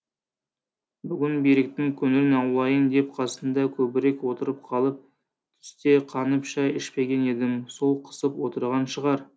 бүгін беріктің көңілін аулайын деп қасында көбірек отырып қалып түсте қанып шай ішпеген едім сол қысып отырған шығар